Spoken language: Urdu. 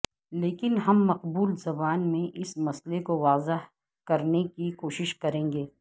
لیکن ہم مقبول زبان میں اس مسئلے کو واضح کرنے کی کوشش کریں گے